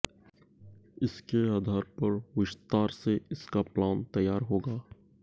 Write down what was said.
इसके आधार पर विस्तार से इसका प्लान तैयार होगा